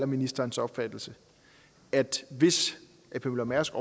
ministerens opfattelse at hvis ap møller mærsk